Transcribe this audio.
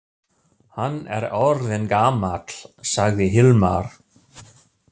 Hann er orðinn gamall, sagði Hilmar.